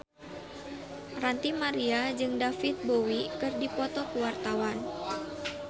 Ranty Maria jeung David Bowie keur dipoto ku wartawan